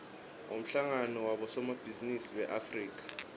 umhlangano wabosomabhizinisi beafrika